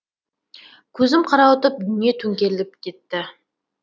көзім қарауытып дүние төңкеріліп кетті